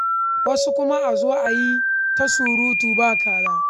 Wasu kuma a zo a yi ta surutu ba kaza.